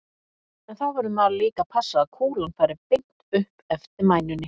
En þá verður maður líka að passa að kúlan fari beint upp eftir mænunni.